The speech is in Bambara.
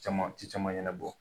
Caman ci caman ɲɛnabɔ.